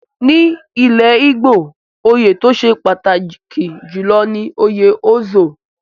Ní ilẹ̀ Igbo, oyè tó ṣe pàtàkì jùlọ ni òye Ozo.